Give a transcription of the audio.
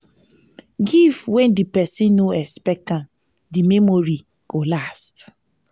give when di persin no expect am di memory go last